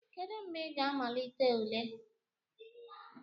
Kedu mgbe ị ga-amalite ule?